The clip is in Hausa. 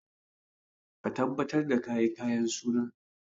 Ka tabbatar da ka yi kayan suna!